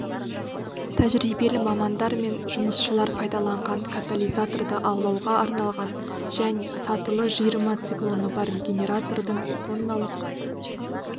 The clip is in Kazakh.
тәжірибелі мамандар мен жұмысшылар пайдаланылған катализаторды аулауға арналған және сатылы жиырма циклоны бар регенератордың тонналық